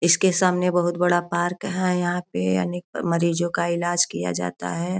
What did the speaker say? इस के सामने बहुत बड़ा पार्क है यहाँ पे अनेक मरीजो का ईलाज किया जाता है।